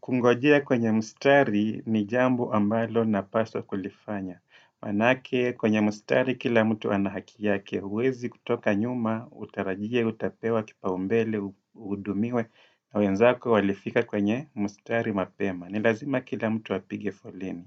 kungojea kwenye mstari ni jambo ambalo napaswa kulifanya. Manake kwenye mstari kila mtu ana haki yake huwezi kutoka nyuma, utarajie, utapewa, kipa umbele, uhudumiwe na wenzako walifika kwenye mstari mapema. Nilazima kila mtu apige foleni.